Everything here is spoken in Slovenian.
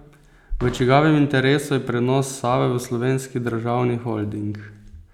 V čigavem interesu je prenos Save v Slovenski državni holding?